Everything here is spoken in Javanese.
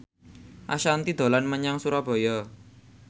Ashanti dolan menyang Surabaya